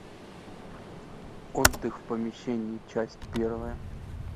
отдых в помещении часть первая